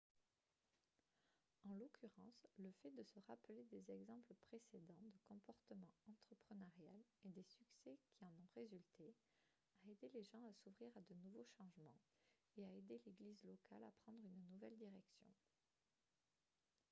en l'occurrence le fait de se rappeler des exemples précédents de comportement entrepreneurial et des succès qui en ont résulté a aidé les gens à s'ouvrir à de nouveaux changements et a aidé l'église locale à prendre une nouvelle direction